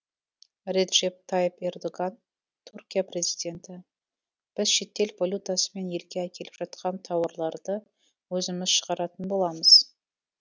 реджеп тайып ердоган түркия президенті біз шетел валютасымен елге әкеліп жатқан тауарларды өзіміз шығаратын боламыз